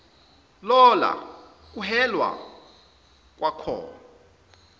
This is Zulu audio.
lola kuhelwa kwakhoi